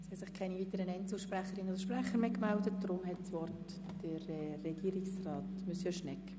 Es ist nicht die Bibel, sondern die Bandbreite, die es ausmacht.